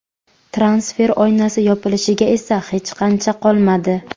Transfer oynasi yopilishiga esa hech qancha qolmadi.